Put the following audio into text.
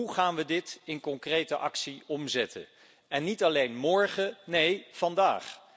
Hoe gaan we dit in concrete actie omzetten, niet alleen morgen, maar ook vandaag?